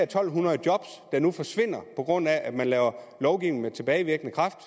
to hundrede job der nu forsvinder på grund af at man laver lovgivning med tilbagevirkende kraft